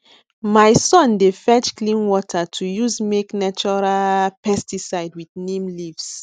my son dey fetch clean water to use make natural pesticide with neem leaves